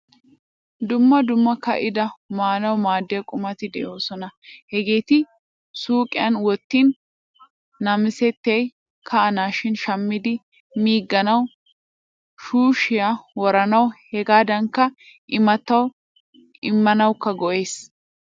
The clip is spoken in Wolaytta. Dumma dumma kaida maanawu maadiya qummati deosona. Hageetti suuqioyan wottin namisettay ka'anashin shammidi miiganawu shuushiyaa woranawu hegadankka immatawu immanawukka go'ees.